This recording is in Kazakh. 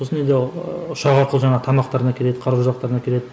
сосын енді ыыы ұшақ арқылы жаңағы тамақтарын әкеледі қару жарақтарын әкеледі